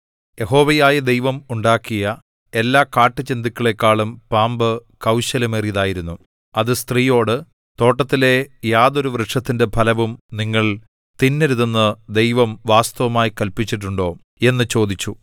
യഹോവയായ ദൈവം ഉണ്ടാക്കിയ എല്ലാ കാട്ടുജന്തുക്കളെക്കാളും പാമ്പ് കൗശലമേറിയതായിരുന്നു അത് സ്ത്രീയോട് തോട്ടത്തിലെ യാതൊരു വൃക്ഷത്തിന്റെ ഫലവും നിങ്ങൾ തിന്നരുതെന്നു ദൈവം വാസ്തവമായി കല്പിച്ചിട്ടുണ്ടോ എന്നു ചോദിച്ചു